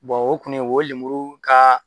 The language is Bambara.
o kɔni o ye lemuru ka